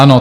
Ano.